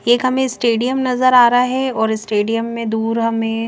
एक हमे स्टेडियम नजर आ रहा है और स्टेडियम में दूर हमे--